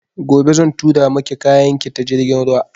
Gobe zan tura maki kayan ki ta jirgin ruwa